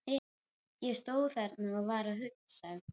Ég stóð þarna og var að hugsa.